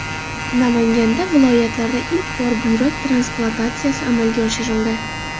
Namanganda viloyatlarda ilk bor buyrak transplantatsiyasi amalga oshirildi.